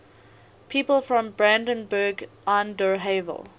people from brandenburg an der havel